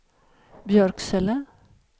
Björksele